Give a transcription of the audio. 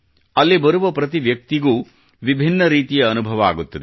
ಅಲ್ಲಿ ಬರುವ ಪ್ರತಿವ್ಯಕ್ತಿಗೂ ವಿಭಿನ್ನ ರೀತಿಯ ಅನುಭವ ಆಗುತ್ತದೆ